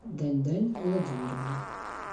даньдань владимировна